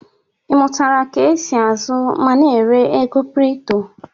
Ị mụtara ka e si ázụ́ ma na-ere ego kripto?